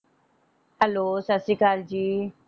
Hello ਸਤਿ ਸ੍ਰੀ ਅਕਾਲ ਜੀ।